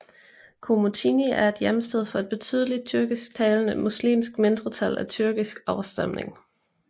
Komotini er hjemsted for et betydeligt tyrkisktalende muslimsk mindretal af tyrkisk afstamning